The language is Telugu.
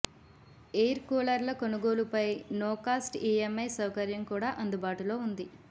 ఎయిర్ కూలర్ల కొనుగోలుపై నో కాస్ట్ ఈఎంఐ సౌకర్యం కూడా అందుబాటులో ఉంది